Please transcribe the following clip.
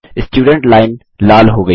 student line लाल हो गयी है